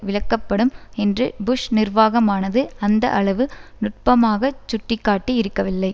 விலக்கப்படும் என்று புஷ் நிர்வாகமானது அந்த அளவு நுட்பமாகச் சுட்டி காட்டி இருக்கவில்லை